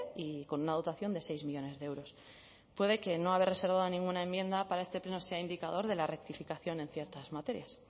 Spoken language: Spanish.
y con una dotación de seis millónes de euros puede que no haber reservado ninguna enmienda para este pleno sea indicador de la rectificación en ciertas materias